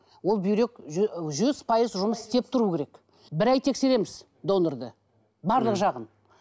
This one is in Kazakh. ол бүйрек жүз пайыз жұмыс істеп тұруы керек бір ай тексереміз донорды барлық жағын